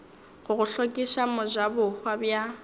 go go hlokiša mojabohwa bja